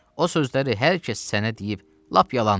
O sözləri hər kəs sənə deyib, lap yalan deyib.